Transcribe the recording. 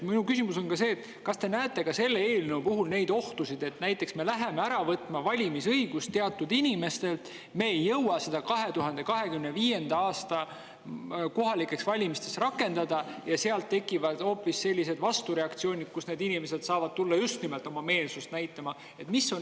Minu küsimus on: kas te näete selle eelnõu puhul ohtu, et kui me võtame valimisõiguse ära teatud inimestelt, aga me ei jõua seda 2025. aasta kohalikeks valimisteks rakendada, siis tekivad hoopis sellised vastureaktsioonid, kus need inimesed saavad tulla just nimelt oma meelsust näitama?